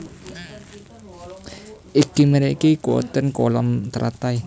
Ing mriki wonten kolam teratai